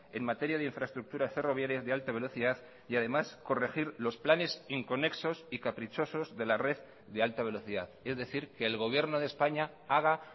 en materia de infraestructuras ferroviarias de alta velocidad y además corregir los planes inconexos y caprichosos de la red de alta velocidad es decir que el gobierno de españa haga